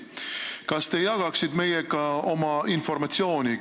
Kas te jagaksite meiega oma informatsiooni?